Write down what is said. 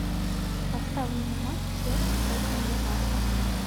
поставь мне матч челси против ньюкасла